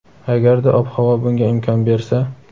agarda ob-havo bunga imkon bersa.